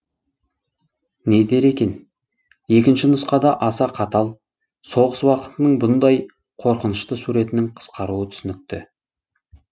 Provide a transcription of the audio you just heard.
не дер екен екінші нұсқада аса қатал соғыс уақытының бұндай қорқынышты суретінің қысқаруы түсінікті